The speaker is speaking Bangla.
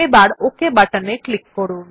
এবার ওক বাটনে ক্লিক করুন